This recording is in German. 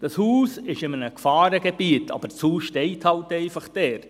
Das Haus ist in einem Gefahrengebiet, aber das Haus steht halt einfach dort.